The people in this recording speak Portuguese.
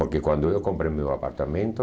Porque quando eu comprei meu apartamento,